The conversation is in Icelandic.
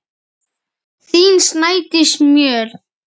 Þín, Snædís Mjöll.